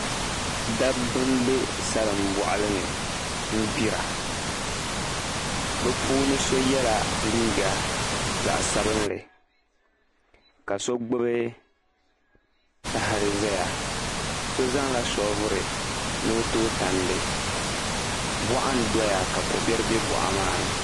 Dabba m-be salimbɔɣili ni n-ɡbira bɛ puuni so yɛla liiɡa zaɣ' sabinli ka so ɡbubi tahili zaya so zaŋla shooviri ni o tooi tandi bɔɣa n-dɔya ka ko' biɛri be bɔɣa maa ni